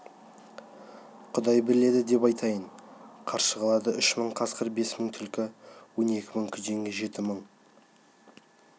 құдай біледі деп айтайын қаршығалыда үш мың қасқыр бес мың түлкі он екі мың күзең жеті мың